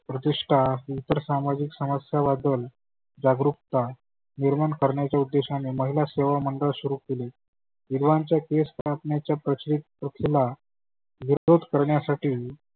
प्रतिष्ठा इतर सामाजीक वाढवून जागृकता निर्मान करण्याच्या उद्देशाने महीला सेवा मंडळ सुरू केले. विधवांच्या केस कापण्याच्या प्रचलीत प्रथेला विरोध करण्यासाठी